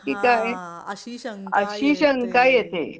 हा हा आहे अशी शंका येते